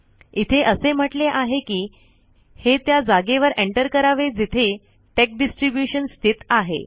इथे असे म्हटले आहे कि हे त्या जागेवर एन्टर करावे जिथे टेक्स डिस्ट्रिब्युशन स्थित आहे